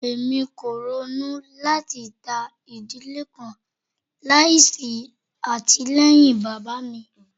Emi ko ronu lati ta idile kan laisi atilẹyin baba mi